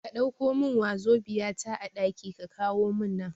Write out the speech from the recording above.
Ka Ɗauko min wazobia ta a ɗaki ka kawo mun nan